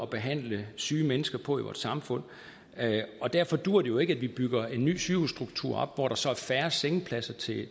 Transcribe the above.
behandle syge mennesker på i vores samfund derfor duer det jo ikke at vi bygger en ny sygehusstruktur op hvor der så er færre sengepladser til